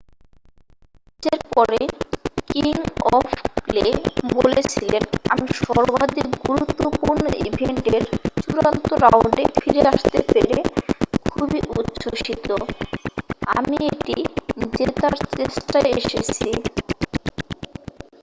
"ম্যাচের পরে king of clay বলেছিলেন "আমি সর্বাধিক গুরুত্বপূর্ণ ইভেন্টের চূড়ান্ত রাউন্ডে ফিরে আসতে পেরে খুবই উচ্ছ্বসিত। আমি এটি জেতার চেষ্টায় এসেছি।""